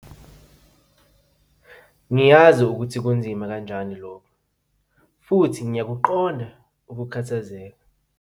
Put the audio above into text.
Ngiyazi ukuthi kunzima kanjani lokhu futhi ngiyakuqonda ukukhathazeka.